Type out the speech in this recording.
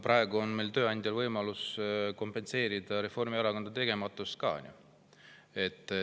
Praegu on meil tööandjal võimalus kompenseerida ka Reformierakonna tegematust.